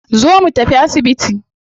Zo mu tafi asibiti